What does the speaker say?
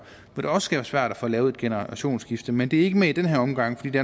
hvor det også kan være svært at få lavet et generationsskifte men det er ikke med i den her omgang fordi det